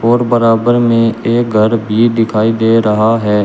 और बराबर में एक घर भी दिखाई दे रहा है।